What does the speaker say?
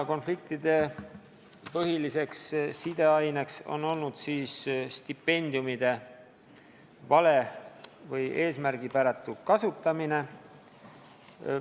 Konfliktide põhiliseks aineseks on olnud stipendiumide vale või eesmärgipäratu kasutamine.